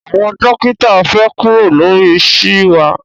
Àwọn dókítà fẹ kuro lori ṣeé wa